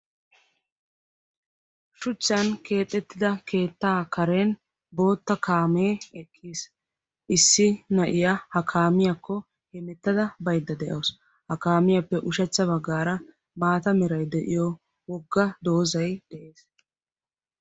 Shuchchan keexettida keettaa karen bootta kaamee eqqis. Issi na"iyaa ha kaamiyaakko hemettada baydda de"aws. Ha kaamiyaappe ushshachcha baggaara maata meray de"iyo wogga doozzay de'ees.